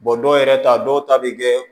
dɔw yɛrɛ ta dɔw ta bɛ kɛ